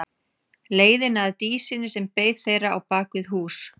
Leiðina að Dísinni sem beið þeirra á bak við hús.